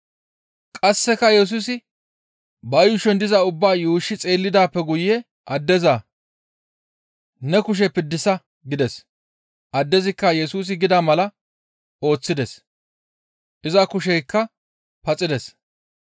Qasseka Yesusi ba yuushon diza ubbaa yuushshi xeellidaappe guye addeza, «Ne kushe piddisa» gides; addezikka Yesusi gida mala ooththides. Iza kusheykka paxides.